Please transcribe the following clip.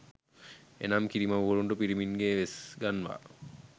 එනම් කිරිමව්වරුන්ට පිරිමින්ගේ වෙස්ගන්වා